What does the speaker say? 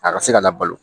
A ka se ka labalo